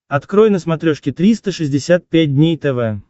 открой на смотрешке триста шестьдесят пять дней тв